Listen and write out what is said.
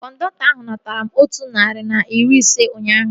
Kọndọktọ ahu natara m otu narị na iri ise ụnyaahụ